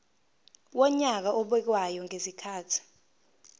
wonyaka obekwayo ngezikhathi